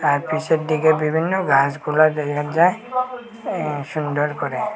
আর পিছন দিকে বিভিন্ন গাছগুলো দেখা যায় আ সুন্দর করে।